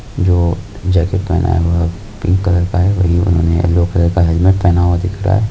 जो जैकिट पहना है बह पिंक कलर का है बही उन्होने यल्लो कलर का हेलमेट पहना दिख रहा है।